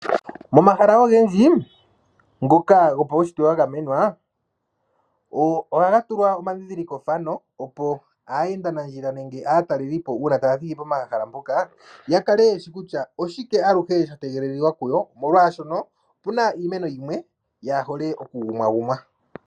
Momahala ogendji ngoka gopaunshitwe wa gamenwa, ohaga tulwa omandhindhiliko fano opo aayenda nandjila nenge aataleli po uuna taya thiki pomahala mpoka ya kale ye shi kutya oshike sha tegelelika kuyo, oshoka opu na iinamwenyo yimwe yaa hole oku gumwaagumwa.